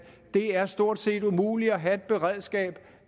det er stort set umuligt at have et beredskab